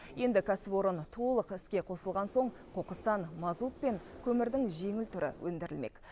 енді кәсіпорын толық іске қосылған соң қоқыстан мазут пен көмірдің жеңіл түрі өндірілмек